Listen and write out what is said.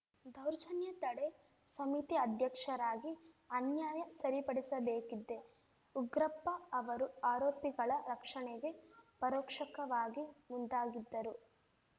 ದೌರ್ಜನ್ಯ ತಡೆ ಸಮಿತಿ ಅಧ್ಯಕ್ಷರಾಗಿ ಅನ್ಯಾಯ ಸರಿಪಡಿಸಬೇಕಿದ್ದೆ ಉಗ್ರಪ್ಪ ಅವರು ಆರೋಪಿಗಳ ರಕ್ಷಣೆಗೆ ಪರೋಕ್ಷಕವಾಗಿ ಮುಂದಾಗಿದ್ದರು